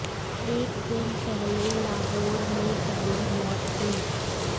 एक दिन पहले लाहौर में पहली मौत हुई